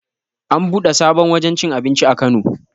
An buɗe sabon wajen cin abinci a kano